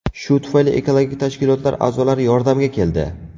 Shu tufayli ekologik tashkilotlar a’zolari yordamga keldi.